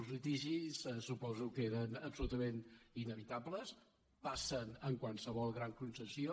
els litigis suposo que eren absolutament inevitables passen en qualsevol gran concessió